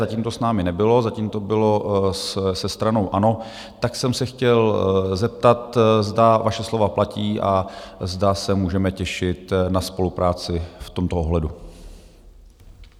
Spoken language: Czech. Zatím to s námi nebylo, zatím to bylo se stranou ANO, tak jsem se chtěl zeptat, zda vaše slova platí a zda se můžeme těšit na spolupráci v tomto ohledu.